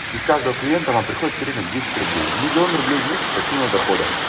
из каждого клиента вам приходит в среднем десять рублей в миллион рублей в месяц пассивного дохода